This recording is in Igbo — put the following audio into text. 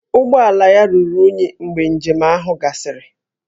Ụgbọ ala ya ruru unyi mgbe njem ahụ gasịrị